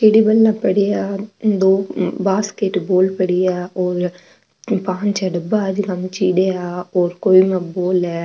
चिड़िबला पड़ा दो बास्केटबाल भी पड़ी है और पांच छ डबा है जीका में चिड़िया और कोई में बाल है।